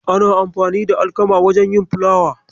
Ana amfani da alkamar wajen yin fulawa.